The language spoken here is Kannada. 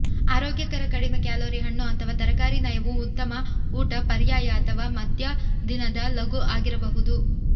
ಆರೋಗ್ಯಕರ ಕಡಿಮೆ ಕ್ಯಾಲೋರಿ ಹಣ್ಣು ಅಥವಾ ತರಕಾರಿ ನಯವು ಉತ್ತಮ ಊಟ ಪರ್ಯಾಯ ಅಥವಾ ಮಧ್ಯ ದಿನದ ಲಘು ಆಗಿರಬಹುದು